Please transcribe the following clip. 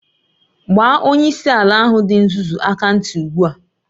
Gbaa onyeisi ala ahụ dị nzuzu aka ntị ugbu a!